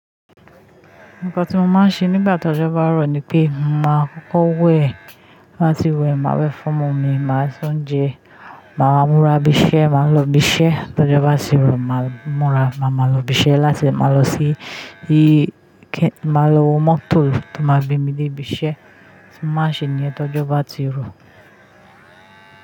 Nǹkan tí mo máa ń ṣe nígbà tí ọjọ́ bá rọ̀ ni pé mo máa kọ́kọ́ wẹ̀, báti wẹ̀, màá wẹ̀ fún omomi, màá se oúnjẹ, màá múra bisẹ́, màá lọ bisẹ́. Tọ́jọ́ bá tirò, màá múra, màá máa lọ bisẹ́. Láṣẹ màá lọ sí, máa lọ mọ́tò tó máa gbé mi dé ibi iṣẹ́. Ma ṣe ni ẹ́ tọ́jọ́ bá ti rọ̀